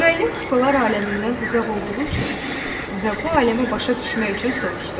Müəllim kuklalar aləmindən uzaq olduğu üçün və bu aləmə başa düşmək üçün soruşdu: